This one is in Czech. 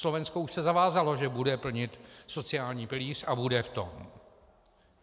Slovensko už se zavázalo, že bude plnit sociální pilíř a bude v tom.